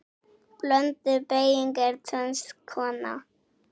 Blönduð beyging er tvenns konar